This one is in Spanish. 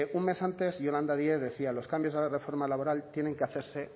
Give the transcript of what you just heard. un mes antes yolanda díez decía los cambios a la reforma laboral tienen que hacerse